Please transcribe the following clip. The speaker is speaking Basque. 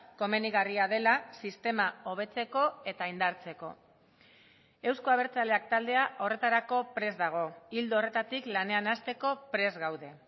komenigarria dela sistema hobetzeko eta indartzeko euzko abertzaleak taldea horretarako prest dago ildo horretatik lanean hasteko prest gaude